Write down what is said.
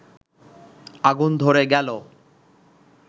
আগুন ধরে গেলে